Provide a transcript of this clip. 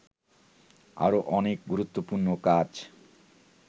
আরো অনেক গুরুত্বপূর্ণ কাজ